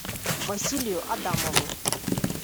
василию адамову